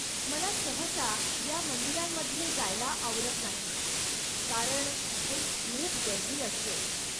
मला सहसा या मंदिरांमध्ये जायला आवडत नाही कारण तिथे खूप गर्दी असते.